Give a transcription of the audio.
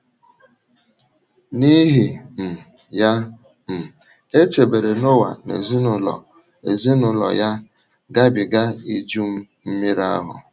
N’ihi um ya, um e chebere Noa na ezinụlọ ezinụlọ ya gabiga Iju Mmiri ahụ.